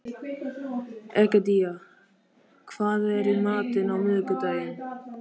Egedía, hvað er í matinn á miðvikudaginn?